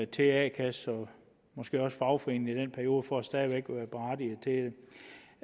til a kasse og måske også fagforening i den periode for stadig væk